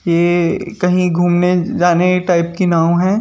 ये कहीं घूमने जाने टाइप की नाव है।